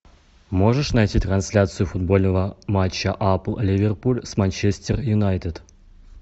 можешь найти трансляцию футбольного матча апл ливерпуль с манчестер юнайтед